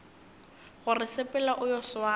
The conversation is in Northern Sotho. gore sepela o yo swara